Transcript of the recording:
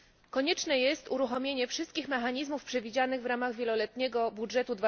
Konieczne jest uruchomienie wszystkich mechanizmów przewidzianych wramach wieloletniego budżetu